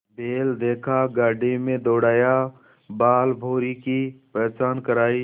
बैल देखा गाड़ी में दौड़ाया बालभौंरी की पहचान करायी